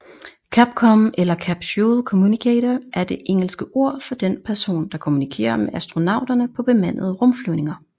CAPCOM eller Capsule communicator er det engelske ord for den person der kommunikerer med astronauterne på bemandede rumflyvninger